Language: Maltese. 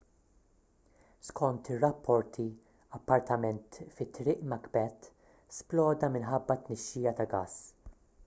skont ir-rapporti appartament fi triq macbeth sploda minħabba tnixxija ta' gass